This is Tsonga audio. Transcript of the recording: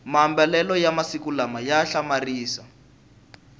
mamabalelo ya masiku lawa a hlamarisa